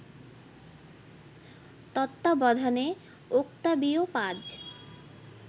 তত্ত্বাবধানে ওক্তাবিও পাজ